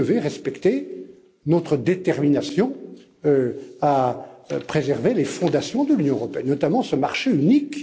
Mais vous devez respecter notre détermination à préserver les fondations de l'Union européenne et notamment ce marché unique.